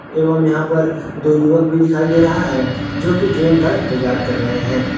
एवं यहां पर दो युवक भी दिखाई दे रहा है जोकि ट्रेन का इंतजार कर रहे हैं।